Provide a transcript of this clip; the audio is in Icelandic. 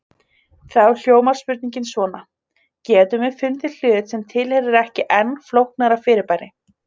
Þá hljómar spurningin svona: Getum við fundið hlut sem tilheyrir ekki enn flóknara fyrirbæri?